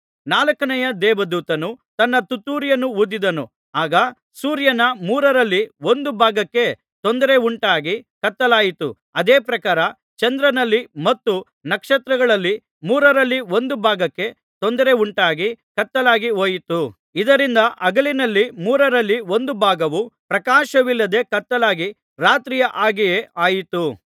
ನಾಲ್ಕನೆಯ ದೇವದೂತನು ತನ್ನ ತುತ್ತೂರಿಯನ್ನು ಊದಿದನು ಆಗ ಸೂರ್ಯನ ಮೂರರಲ್ಲಿ ಒಂದು ಭಾಗಕ್ಕೆ ತೊಂದರೆಯುಂಟಾಗಿ ಕತ್ತಲಾಯಿತು ಅದೇ ಪ್ರಕಾರ ಚಂದ್ರನಲ್ಲಿ ಮತ್ತು ನಕ್ಷತ್ರಗಳಲ್ಲಿ ಮೂರರಲ್ಲಿ ಒಂದು ಭಾಗಕ್ಕೆ ತೊಂದರೆಯುಂಟಾಗಿ ಕತ್ತಲಾಗಿ ಹೋಯಿತು ಇದರಿಂದ ಹಗಲಿನಲ್ಲಿ ಮೂರರಲ್ಲಿ ಒಂದು ಭಾಗವು ಪ್ರಕಾಶವಿಲ್ಲದೆ ಕತ್ತಲಾಗಿ ರಾತ್ರಿಯ ಹಾಗೆಯೇ ಆಯಿತು